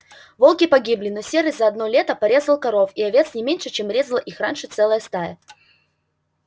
волки погибли но серый за одно лето порезал коров и овец не меньше чем резала их раньше целая стая